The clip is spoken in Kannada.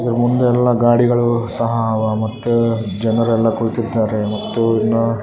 ಇದ್ರ ಮುಂದೆ ಎಲ್ಲ ಗಾಡಿಗಳೂ ಸಹ ಮತ್ತೆ ಜನರೆಲ್ಲಾ ಕೂತಿರ್ತಾರೆ ಮತ್ತು ಇನ್ನು --